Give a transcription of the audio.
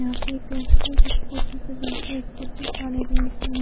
यहाँ पे एक लड़की है जो स्कूटी पे बैठी हुई है और स्कूटी काली रंग की है।